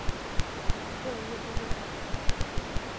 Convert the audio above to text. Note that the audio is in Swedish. Börje Brolin